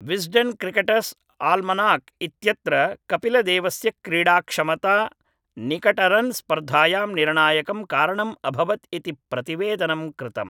Wisden Cricketers' Almanack इत्यत्र कपिलदेवस्य क्रीडाक्षमता निकटरन् स्पर्धायां निर्णायकं कारणम् अभवत् इति प्रतिवेदनं कृतम्